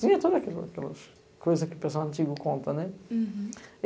Tinha todas aquelas coisas que o pessoal antigo conta, né? Hurum.